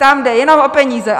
Tam jde jenom o peníze.